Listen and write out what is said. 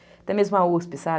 Até mesmo a uspi, sabe?